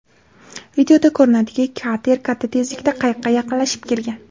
Videoda ko‘rinadiki kater katta tezlikda qayiqqa yaqinlashib kelgan.